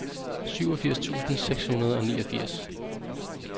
syvogfirs tusind seks hundrede og niogfirs